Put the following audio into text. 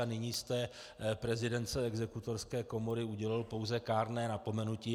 A nyní jste prezidentce Exekutorské komory udělil pouze kárné napomenutí.